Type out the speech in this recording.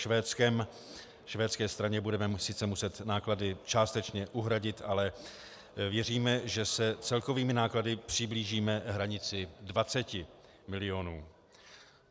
Švédské straně budeme sice muset náklady částečně uhradit, ale věříme, že se celkovými náklady přiblížíme hranici 20 mil.